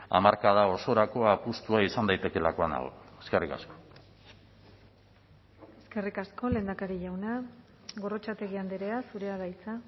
hamarkada osorako apustua izan daitekeelakoan nago eskerrik asko eskerrik asko lehendakari jauna gorrotxategi andrea zurea da hitza